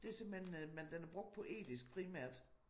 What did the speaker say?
Det simpelthen øh men den er brugt poetisk primært